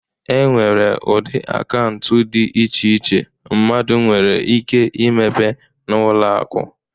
E nwere ụdị akaụntụ dị iche iche mmadụ nwere ike imepe n'ụlọ akụ.